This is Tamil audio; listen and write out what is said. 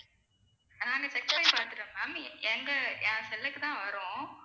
நானு check பண்ணி பாத்துட்டோம் ma'am எங்க என் செல்லுக்கு தான் வரும்